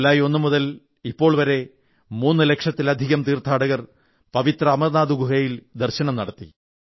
ജൂലായ് 1 മുതൽ ഇപ്പോൾ വരെ മൂന്നുലക്ഷത്തിലധികം തീർഥാടകർ പവിത്ര അമർനാഥ് ഗുഹയിൽ ദർശനം നടത്തി